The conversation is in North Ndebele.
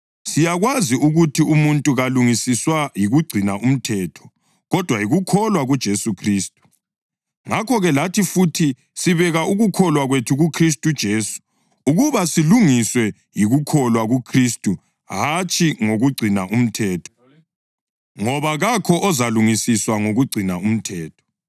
siyakwazi ukuthi umuntu kalungisiswa yikugcina umthetho kodwa yikukholwa kuJesu Khristu. Ngakho-ke, lathi futhi, sibeke ukukholwa kwethu kuKhristu uJesu ukuba silungiswe yikukholwa kuKhristu hatshi ngokugcina umthetho ngoba kakho ozalungisiswa ngokugcina umthetho.